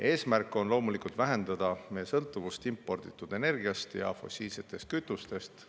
Eesmärk on loomulikult vähendada meie sõltuvust imporditud energiast ja fossiilsetest kütustest.